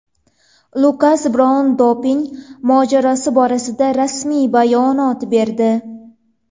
Lukas Braun doping mojarosi borasida rasmiy bayonot berdi.